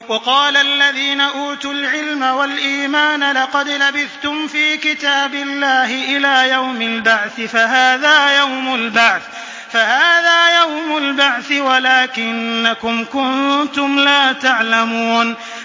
وَقَالَ الَّذِينَ أُوتُوا الْعِلْمَ وَالْإِيمَانَ لَقَدْ لَبِثْتُمْ فِي كِتَابِ اللَّهِ إِلَىٰ يَوْمِ الْبَعْثِ ۖ فَهَٰذَا يَوْمُ الْبَعْثِ وَلَٰكِنَّكُمْ كُنتُمْ لَا تَعْلَمُونَ